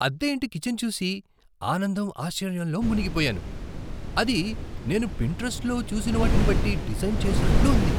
అద్దె ఇంటి కిచన్ చూసి ఆనందం, ఆశ్చర్యంలో మునిగిపోయాను. అది నేను పింటరస్ట్లో చూసివాటిని బట్టి డిజైన్ చేసినట్లు ఉంది!